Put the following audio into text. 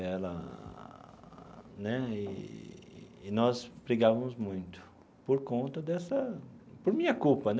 Ela né eee e nós brigávamos muito por conta dessa... por minha culpa né.